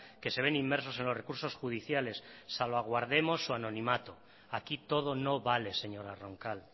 que se ven inmersos en los recursos judiciales salvaguardemos su anonimato aquí todo no vale señora roncal